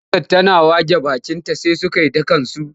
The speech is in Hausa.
Damusar tana wage bakinta sai suka yi ta kansu.